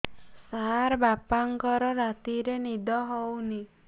ସାର ବାପାଙ୍କର ରାତିରେ ନିଦ ହଉନି